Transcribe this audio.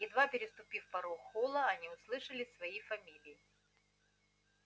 едва переступив порог холла они услышали свои фамилии